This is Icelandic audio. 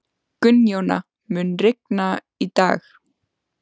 Gunnjóna, mun rigna í dag?